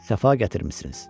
Səfa gətirmisiniz.